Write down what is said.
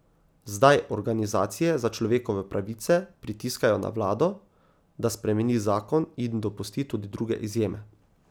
Zdaj organizacije za človekove pravice pritiskajo na vlado, da spremeni zakon in dopusti tudi druge izjeme.